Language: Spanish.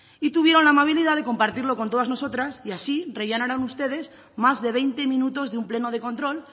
y tuvieron la amabilidad de compartirlo con todas nosotras y así rellenaron ustedes más de veinte minutos de un pleno de control